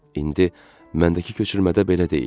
İndi məndəki köçürmədə belə deyil.